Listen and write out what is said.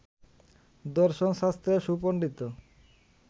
দশর্ন শাস্ত্রে সুপণ্ডিত